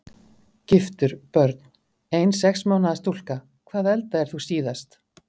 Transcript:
Giftur Börn: Ein sex mánaða stúlka Hvað eldaðir þú síðast?